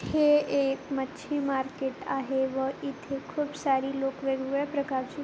हे एक मच्छी मार्केट आहे व इथे खूप सारी लोक वेगवेगळ्या प्रकारची--